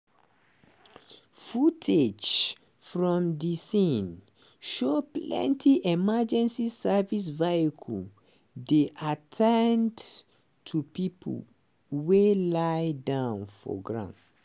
footage from di scene show plenty emergency services vehicles dey at ten d to pipo wey lie down for ground.